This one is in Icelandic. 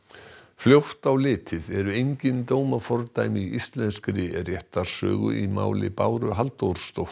fljótt á litið eru engin dómafordæmi í íslenskri réttarsögu í máli Báru Halldórsdóttur